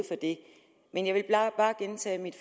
for det men jeg vil bare gentage mit